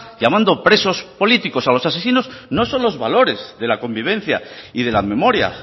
llamando presos políticos a los asesinos no son los valores de la convivencia y de la memoria